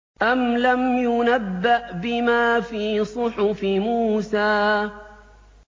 أَمْ لَمْ يُنَبَّأْ بِمَا فِي صُحُفِ مُوسَىٰ